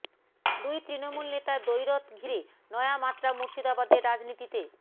দুই তৃণমূল নেতার দ্বৈরথ ঘিরে নয়া মাত্রা মুর্শিদাবাদের রাজনীতিতে